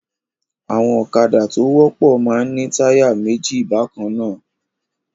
Àwọn ọ̀kadá tó wọ́pọ̀ máa ń ní táyà méjì bákan náà.